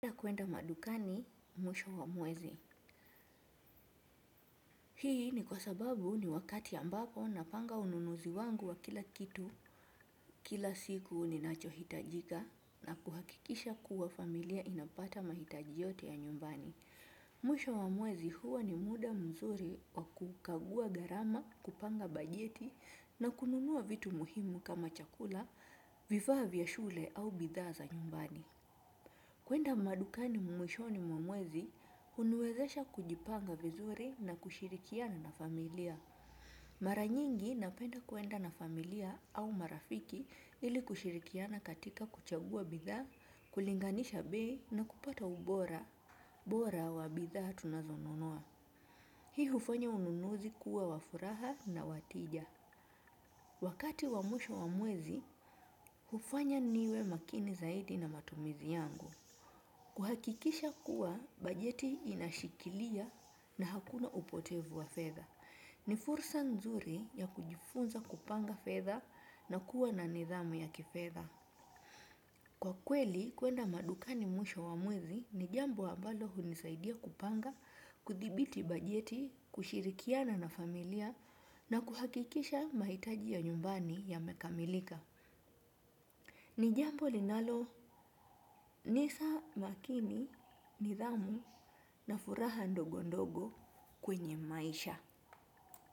Napenda kwenda madukani mwisho wa mwezi, hii ni kwa sababu ni wakati ambapo napanga ununuzi wangu wa kila kitu, kila siku ninachohitaji, na kuhakikisha kuwa familia inapata mahitaji yote ya nyumbani. Mwisho wa mwezi huwa ni muda mzuri wa kukagua gharama, kupanga bajeti, na kununua vitu muhimu kama chakula, vifaa vya shule, au bidhaa za nyumbani. Kwenda madukani mwishoni mwa mwezi huniwezesha kujipanga vizuri na kushirikiana na familia. Mara nyingi napenda kwenda na familia au marafiki ili kushirikiana katika kuchagua bidhaa, kulinganisha bei, na kupata ubora bora wa bidhaa tunazonunua. Hii hufanya ununuzi kuwa wa furaha na wa tija. Wakati wa mwisho wa mwezi hufanya niwe makini zaidi na matumizi yangu. Kuhakikisha kuwa bajeti inashikilia na hakuna upotevu wa fedha. Ni fursa nzuri ya kujifunza kupanga fedha na kuwa na nidhamu ya kifedha. Kwa kweli, kwenda madukani mwisho wa mwezi ni jambo ambalo hunisaidia kupanga, kudhibiti bajeti, kushirikiana na familia, na kuhakikisha mahitaji ya nyumbani yamekamilika. Ni jambo linalonipa makini, nidhamu, na furaha ndogo ndogo kwenye maisha.